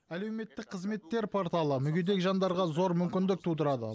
әлеуметтік қызметтер порталы мүгедек жандарға зор мүмкіндік тудырады